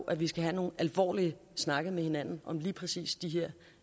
at vi skal have nogle alvorlige snakke med hinanden om lige præcis de